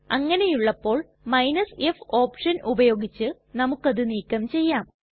അങ്ങനെയുള്ളപ്പോൾ f option ഉപയോഗിച്ച് നമുക്കത് നീക്കം ചെയ്യാം